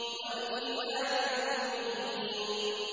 وَالْكِتَابِ الْمُبِينِ